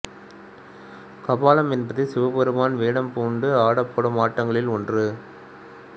கபாலம் என்பது சிவபெருமான் வேடம் பூண்டு ஆடப்படும் ஆட்டங்களில் ஒன்று